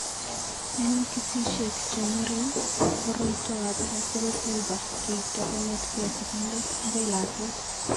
Eng' kesishek che ng'ering', koroitoab Russell Silver keipto kong'etke sigindet akoi lakwet.